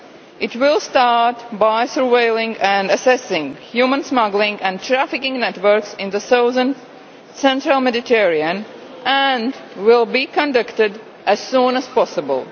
It will start by surveilling and assessing human smuggling and trafficking networks in the southern central Mediterranean and will be conducted as soon as possible.